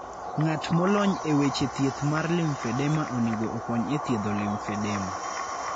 Ng'at molony e weche thieth mar lymphedema onego okony e thiedho lymphedema.